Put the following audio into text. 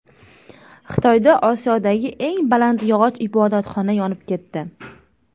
Xitoyda Osiyodagi eng baland yog‘och ibodatxona yonib ketdi .